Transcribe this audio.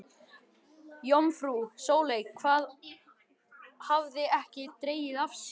Jómfrú Sóley hafði ekki dregið af sér.